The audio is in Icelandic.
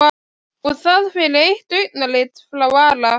Og það fyrir eitt augnatillit frá Ara?